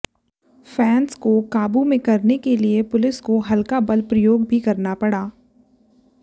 fans को काबू में करने के लिए पुलिस को हल्का बल प्रयोग भी करना पड़ा